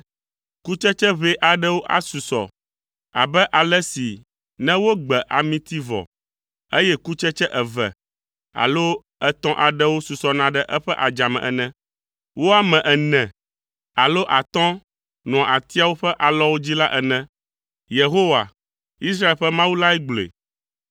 Kutsetse ʋɛ aɖewo asusɔ abe ale si ne wogbe amiti vɔ, eye kutsetse eve alo etɔ̃ aɖewo susɔna ɖe eƒe adzame ene. Wo ame ene alo atɔ̃ nɔa atiawo ƒe alɔwo dzi la ene.” Yehowa Israel ƒe Mawu lae gblɔe.